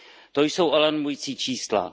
To jsou alarmující čísla.